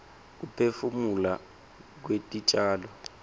kuphefumula kwetitjalo